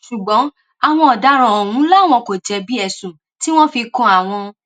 ṣùgbọn àwọn ọdaràn ọhún làwọn kò jẹbi ẹsùn tí wọn fi kan àwọn